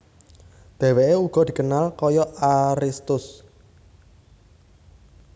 Deweke ugo dikenal koyok Aristus